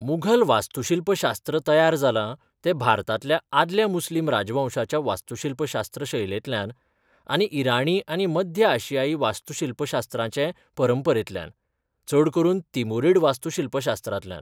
मुघल वास्तूशिल्पशास्त्र तयार जालां तें भारतांतल्या आदल्या मुस्लिम रांजवंशांच्या वास्तूशिल्पशास्त्र शैलेंतल्यान आनी इराणी आनी मध्य आशियाई वास्तूशिल्पशास्त्राचे परंपरेंतल्यान, चड करून तिमुरीड वास्तूशिल्पशास्त्रांतल्यान.